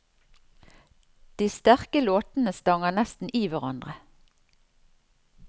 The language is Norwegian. De sterke låtene stanger nesten i hverandre.